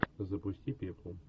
запусти пеплум